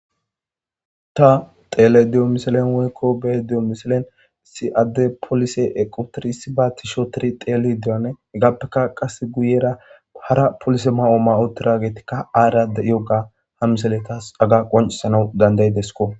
ta tele diyo miselen weykko be diyo miselen si7adde polise equtirisi ba tishootiri teeli dirane heggaappeka qase guyera hara polise ma7oo ma7o tragetikka aarade yogga ha miselekas aga qoncisanau dandayidesko